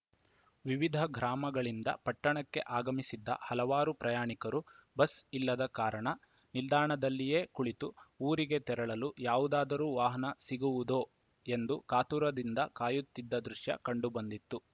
ವಿವಿಧ ಗ್ರಾಮಗಳಿಂದ ಪಟ್ಟಣಕ್ಕೆ ಅಗಮಿಸಿದ್ದ ಹಲವಾರು ಪ್ರಯಾಣಿಕರು ಬಸ್‌ ಇಲ್ಲದ ಕಾರಣ ನಿಲ್ದಾಣದಲ್ಲಿಯೇ ಕುಳಿತು ಊರಿಗೆ ತೆರಳಲು ಯಾವುದಾರೂ ವಾಹನ ಸಿಗುವುದೋ ಎಂದು ಕಾತುರದಿಂದ ಕಾಯುತ್ತಿದ್ದ ದೃಶ್ಯ ಕಂಡು ಬಂದಿತ್ತು